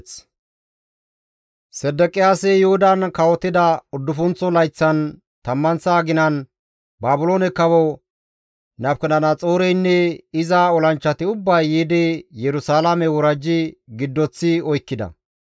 Sedeqiyaasi Yuhudan kawotida uddufunththo layththan, tammanththa aginan, Baabiloone kawo Nabukadanaxooreynne iza olanchchati ubbay yiidi Yerusalaame worajji giddoththi oykkida.